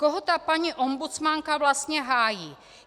Koho ta paní ombudsmanka vlastně hájí?